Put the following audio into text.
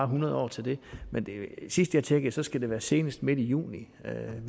hundrede år til det men sidst jeg tjekkede skal det være senest midt i juni